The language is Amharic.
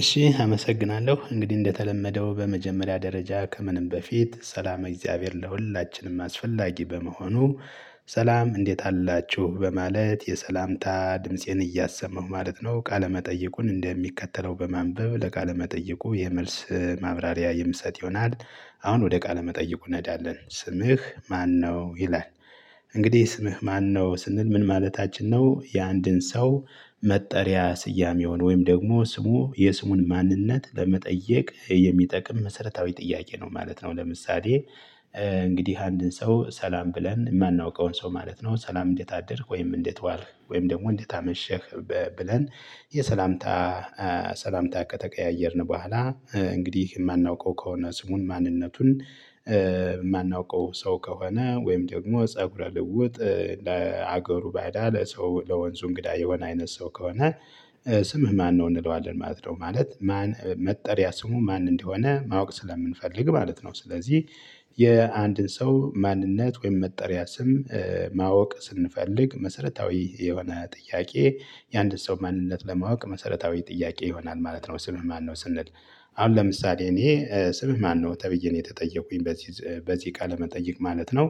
እሺ አመሰግናለሁ እንግዲህ እንደተለመደው በመጀመሪያ ደረጃ ከምንም በፊት ሰላመ እግዚአብሔር ለሁላችንም አስፈላጊ በመሆኑ። ሰላም እንዴት አላችሁ በማለት የሰላምታ ድምፄን እያሰማሁ ማለት ነው። ቃለ መጠይቁን እንደሚከተለው በማንበብ ለቃለ መጠይቁ የመልስ ማብራሪያ የምሰጥ ይሆናል። አሁን ወደ ቃለ መጠይቁ እንሄዳለን ስምህ ማነው? ይላል። እንግዲህ ስምህ ማነው ስንል ምን ማለታችን ነው። የአንድን ሰው መጠሪያ ስያሜውን ወይም ደግሞ ስሙ የስሙን ማንነት ለመጠየቅ የሚጠቅም መሰረታዊ ጥያቄ ነው ማለት ነው። ለምሳሌ እንግዲህ አንድን ሰው ሰላም ብለን የማናውቀውን ሰው ማለት ነው ሰላም እንዴት አደርክ ወይም እንዴት ዋልክ ወይም ደግሞ እንዴት አመሸህ። ብለን የሰላምታ ሰላምታ ከተቀያየርን በኋላ። እንግዲህ የማናውቀው ከሆነ ስሙን ማንነቱን የማናውቀው ሰው ከሆነ ወይም ደግሞ ፀጉረ ልውጥ ለሀገሩ ባእዳ ለሰው ለወንዙ እንግዳ የሆነ አይነት ሰው ከሆነ። ስምህ ማነው እንለዋለን ማለት ነው። ማለት ማን መጠሪያ ስሙ ማን እንደሆነ ማወቅ ስለምንፈልግ ማለት ነው። ስለዚህ የአንድን ሰው ማንነት ወይም መጠሪያ ስም ማወቅ ስንፈልግ መሰረታዊ የሆነ ጥያቄ። የአንድ ሰው ማንነት ለማወቅ መሰረታዊ ጥያቄ ይሆናል ማለት ነው። ስምህ ማነው ስንል። አሁን ለምሳሌ እኔ ስምህ ማነው ተብዬ ነው የተጠየቁኝ በዚህ በዚህ ቃለ መጠይቅ ማለት ነው።